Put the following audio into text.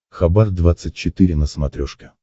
хабар двадцать четыре на смотрешке